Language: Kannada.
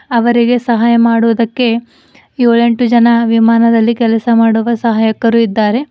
ಅವರಿಗೆ ಸಹಾಯ ಮಾಡೋದಕ್ಕೆ ಏಳೆಂಟು ಜನ ವಿಮಾನದಲ್ಲಿ ಕೆಲಸ ಮಾಡುವ ಸಹಾಯಕರು ಇದ್ದಾರೆ.